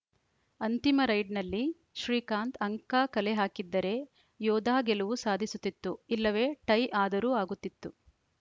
ಅಂತಿಮ ರೈಡ್‌ನಲ್ಲಿ ಶ್ರೀಕಾಂತ್‌ ಅಂಕ ಕಲೆಹಾಕಿದ್ದರೆ ಯೋಧಾ ಗೆಲುವು ಸಾಧಿಸುತ್ತಿತ್ತು ಇಲ್ಲವೇ ಟೈ ಆದರೂ ಆಗುತ್ತಿತ್ತು